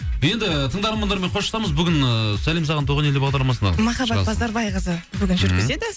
енді тыңдармандармен қоштасамыз бүгін ыыы сәлем саған туған ел бағдарламасына махаббат базарбайқызы бүгін жүргізеді